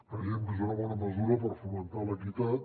creiem que és una bona mesura per fomentar l’equitat